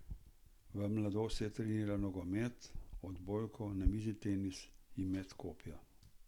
V mladosti je trenirala nogomet, odbojko, namizni tenis in met kopja.